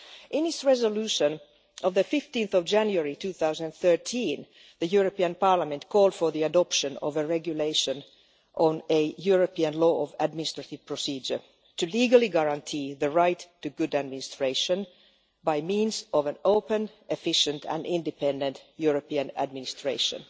In its resolution of 15 January 2013, the European Parliament called for the adoption of a regulation on a European law of administrative procedure, to legally guarantee the right to good administration, by means of an open, efficient and independent European administration.